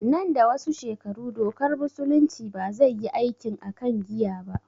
Nan da wasu shekaru dokar musulunci ba zai yi aikin akan giya ba